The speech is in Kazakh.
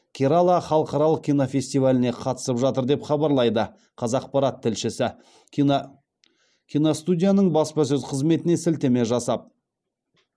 керала халықаралық кинофестиваліне қатысып жатыр деп хабарлайды қазақпарат тілшісі киностудияның баспасөз қызметіне сілтеме жасап